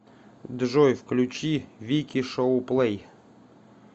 джой включи вики шоу плэй